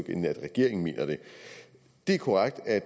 end at regeringen mener det det er korrekt at